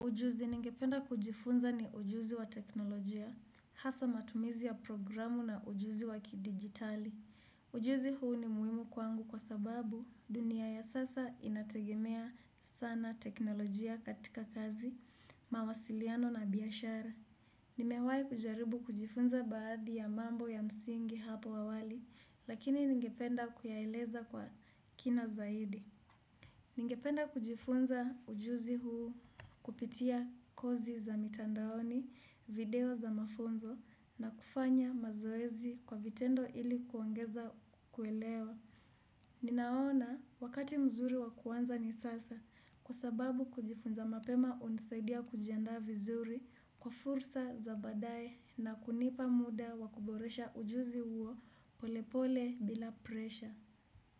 Ujuzi ningependa kujifunza ni ujuzi wa teknolojia, hasa matumizi ya programu na ujuzi wa kidijitali. Ujuzi huu ni muhimu kwangu kwa sababu dunia ya sasa inategemea sana teknolojia katika kazi, mawasiliano na biashara. Nimewahi kujaribu kujifunza baadhi ya mambo ya msingi hapo awali, lakini ningependa kuyaeleza kwa kina zaidi. Ningependa kujifunza ujuzi huu kupitia kozi za mitandaoni, video za mafunzo na kufanya mazoezi kwa vitendo ili kuongeza kuelewa. Ninaona wakati mzuri wa kuanza ni sasa kwa sababu kujifunza mapema hunisaidia kujiandaa vizuri kwa fursa za baadaye na kunipa muda wa kuboresha ujuzi huo polepole bila presha.